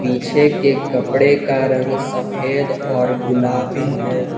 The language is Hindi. पीछे के कपड़े का रंग सफेद और गुलाबी है।